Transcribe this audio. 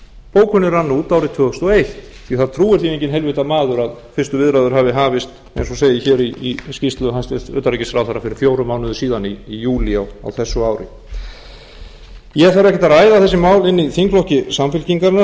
bókunin rann út árið tvö þúsund og eitt því að það trúir því enginn heilvita maður að fyrstu viðræður hafi hafist eins og segir hér í skýrslu hæstvirts utanríkisráðherra fyrir fjórum mánuðum síðan í júlí á þessu ári ég þarf ekkert að ræða þessi mál inni i þingflokki samfylkingarinnar